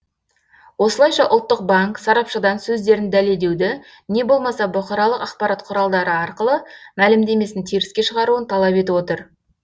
осылайша ұлттық банк сарапшыдан сөздерін дәлелдеуді не болмаса бұқаралық ақпарат құралдары арқылы мәлімдемесін теріске шығаруын талап етіп отыр